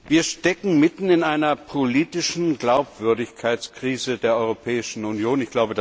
Wir stecken mitten in einer politischen Glaubwürdigkeitskrise der Europäischen Union.